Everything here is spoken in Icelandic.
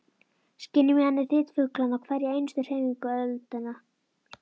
Skynja með henni þyt fuglanna og hverja einustu hreyfingu öldunnar.